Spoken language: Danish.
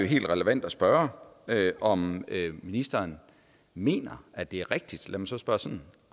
helt relevant at spørge om ministeren mener at det er rigtigt lad mig så spørge sådan